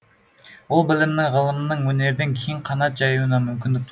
ол білімнің ғылымның өнердің кең қанат жаюына мүмкіндік